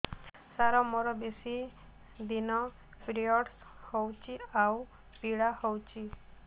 ସାର ମୋର ବେଶୀ ଦିନ ପିରୀଅଡ଼ସ ହଉଚି ଆଉ ପୀଡା ହଉଚି